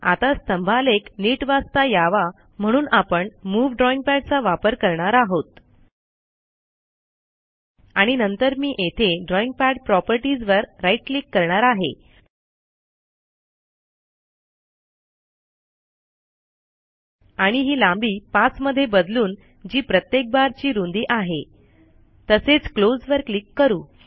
आता स्तंभालेख नीट वाचता यावा म्हणून आपण मूव्ह ड्रॉईंगपॅडचा वापर करणार आहोत आणि नंतर मी येथे ड्रॉइंग पद प्रॉपर्टीज वर राइट क्लिक करणार आहे आणि ही लांबी 5 मध्ये बदलून जी प्रत्येक बार ची रुंदी आहे तसेच क्लोज वर क्लिक करू